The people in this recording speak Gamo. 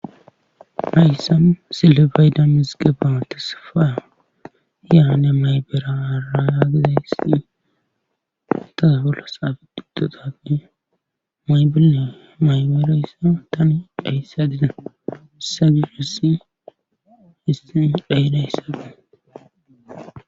Hayssan sillibayda mizige baates fa hiyaane maybera ara yaagiza hisi taza bolla saafi duddotabine maybenne maymerayssa tani dhayssa dida sagiresi histin dhayidayssabee.